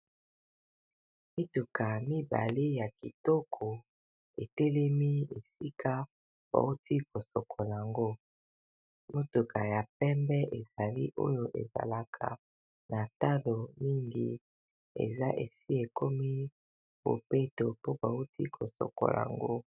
Mituka mibale ya kitoko, etelemi esika bauti kosokola yango. Motuka ya pembe, ezali oyo ezalaka na talo mingi, esi ekomi bobeto po bauti kosokola yango.